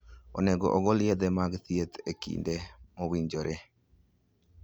Onego ogol yedhe mag thieth e kinde mowinjore.